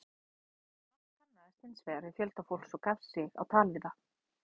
Mark kannaðist hins vegar við fjölda fólks og gaf sig á tal við það.